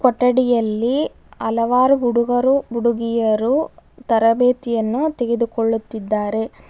ಕೊಠಡಿಯಲ್ಲಿ ಹಲವಾರು ಹುಡುಗರು ಹುಡುಗಿಯರು ತರಬೇತಿಯನ್ನು ತೆಗೆದುಕೊಳ್ಳುತ್ತಿದರೆ.